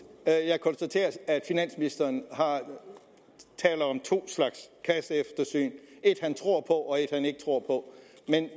jeg konstaterer at finansministeren taler om to slags kasseeftersyn et han tror på og et han ikke tror på